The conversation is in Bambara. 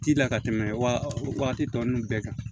Ti la ka tɛmɛ wa waati tɔ nunnu bɛɛ kan